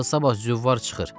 Axı sabah züvvar çıxır.